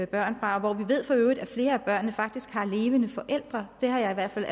børn fra har levende forældre jeg har i hvert fald